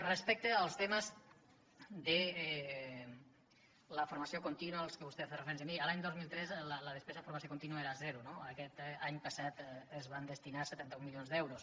respecte als temes de la formació contínua a què vostè ha fet referència miri l’any dos mil tres la despesa en formació contínua era zero no aquest any passat s’hi van destinar setanta un milions d’euros